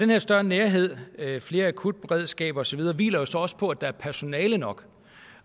her større nærhed flere akutberedskaber og så videre hviler jo så også på at der er personale nok